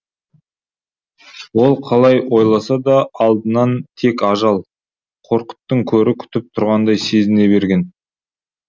ол қалай ойласа да алдынан тек ажал қорқыттың көрі күтіп тұрғандай сезіне берген